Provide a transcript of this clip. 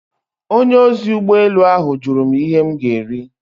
Onye ozi ụgbọ elu ahụ jụrụ m ihe m ga-eri.